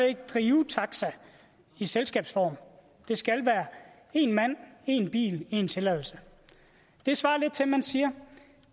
ikke drive taxa i selskabsform det skal være én mand én bil én tilladelse det svarer lidt til at man siger